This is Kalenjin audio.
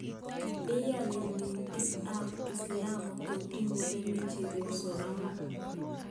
Iyani dinit ab kiislamu Kotun muren chebyosok angwan